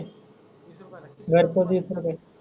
घरपोच वीस रुपये.